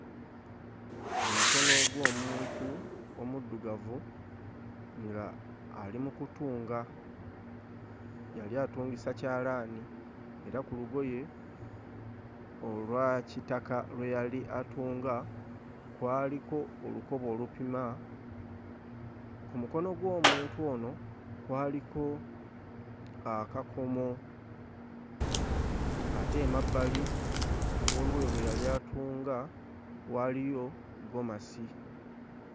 Omukono gw'omuntu omuddugavu nga ali mu kutunga, yali atungisa kyalaani, era ku lugoye olwa kitaka lwe yali atunga kwaliko olukoba olupima, ku mukono gw'omuntu ono kwaliko akakomo ate emabbali w'olugoye lwe yali atunga waaliyo ggomasi.